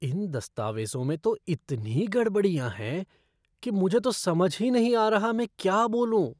इन दस्तावेज़ों में तो इतनी गड़बड़ियाँ हैं कि मुझे तो समझ ही नहीं आ रहा मैं क्या बोलूं।